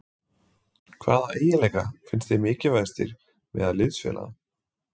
Hvaða eiginleika finnst þér mikilvægastir meðal liðsfélaga?